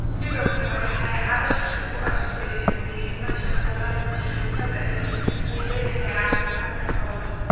Sidoo kale, waxay carrabka ku adkeeyeen muhiimadda tallaalka joogtada ahi u leeyahay caafimaadka xoolaha.